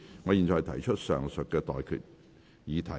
我現在向各位提出上述待決議題。